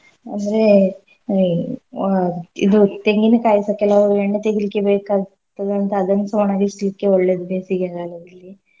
ಅಂದ್ರೆ ಅಹ್ ವ~ ಇದು ತೆಂಗಿನ್ಕಾಯಿಸ ಕೆಲವು ಎಣ್ಣೆ ತೆಗಿಲಿಕ್ಕೆ ಬೇಕಾಗ್ತದಂತ ಅದನ್ನ್ಸ ಒಣಗ್ಲಿಸ್ಲಿಕ್ಕೆ ಒಳ್ಳೇದ್ ಬೇಸಿಗೆ ಕಾಲದಲ್ಲಿ.